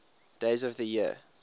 days of the year